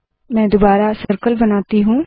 मैं दुबारा सर्कल बनाती हूँ